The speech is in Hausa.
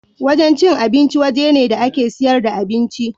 Wajen cin abinci waje ne da ake siyar da abinci.